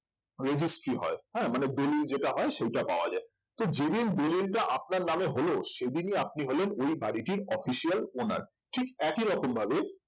registry হয় হ্যাঁ মানে দলিল যেটা হয় সেটা পাওয়ার যায় তো যেদিন দলিলটা আপনার নামে হলো সেদিনই আপনি হলেন ওই বাড়িটির official owners ঠিক একই রকম ভাবে